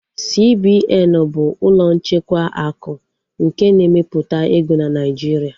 CBN bụ ụlọ nchekwa akụ nke na-emepụta ego na Naịjiria